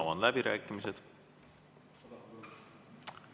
Avan läbirääkimised.